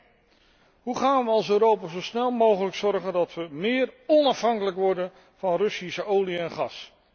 Een Hoe gaan we er als Europa zo snel mogelijk voor zorgen dat we meer onafhankelijk worden van Russische olie en gas?